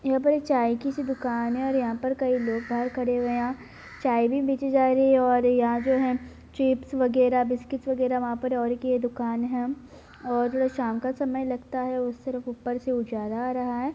यहाँ पर एक चाय की सी दुकान है और यहाँ पर कई लोग बाहर खड़े हुए हैं यहाँ चाय भी बेचीं जा रही है और यहाँ जो हैं चिप्स वगैरह बिस्कुट वगैरह वहाँ पर और एक ये दुकान है और शाम का समय लगता है उस तरफ ऊपर से उजाला आ रहा है।